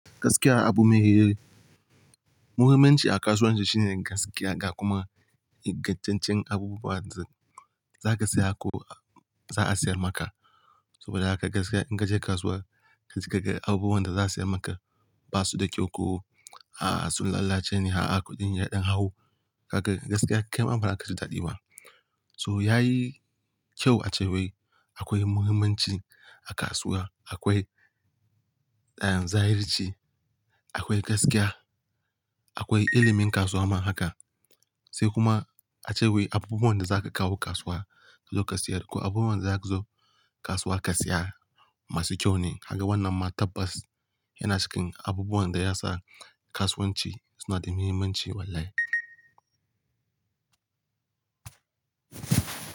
Gaskiya abu me yi-- muhimmanci a kasuwanci shine gaskiya da kuma ingantaccen abubuwan da za ka saya ko za a siyar maka. Saboda haka gaskiya in ka je kasuwa ka je kaga abubuwan da za a siyar maka ba su da kyau ko, ah sun lalace ne, ha a kuɗin yaɗan hawo. Kaga gaskiya kai ma bazaka ki ji daɗi ba. So yayi kyau a cewai akwai muhimmanci a kasuwa, akwai zahirci, akwai gaskiya, akwai ilimin kasuwa ma haka. Sai kuma a cewai abubuwan da za ka kawo kasuwa ka zo ka siyar ko abubuwan da za ka zo kasuwa ka saya masu kyau ne. Kaga wannan ma tabbas yana cikin abubuwan da yasa kasuwanci suna da muhimmanci wallahi.